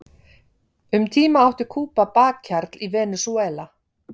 Um tíma átti Kúba bakhjarl í Venesúela.